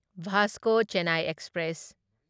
Vasco Chennai express